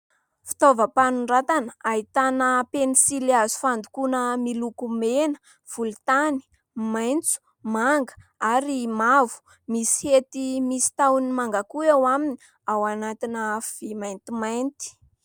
Fitaovam-panoratana ahitana pensily hazo fandokoana miloko mena, volontany, maitso, manga ary mavo, misy hety misy tahony manga koa eo aminy ao anatina vy maintimainty.